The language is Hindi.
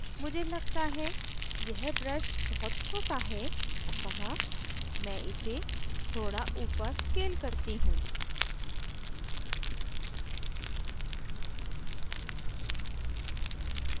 मुझे लगता है यह brush बहुत छोटा है अतः मैं इसे थोड़ा ऊपर scale करती हूँ